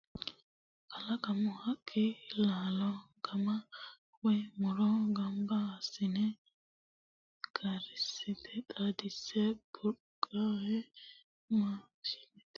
Kalaqamu haqqi laalo guma woyi muro gamba assine karsiise xaadinse burdunqe maashinate giddo worre ka'nentinni horonsi'nanni woyte kushshi yiteti coomittanohu.